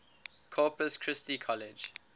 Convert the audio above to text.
corpus christi college